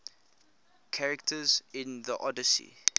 characters in the odyssey